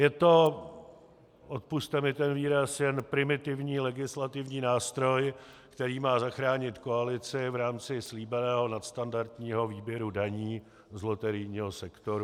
Je to, odpusťte mi ten výraz, jen primitivní legislativní nástroj, který má zachránit koalici v rámci slíbeného nadstandardního výběru daní z loterijního sektoru.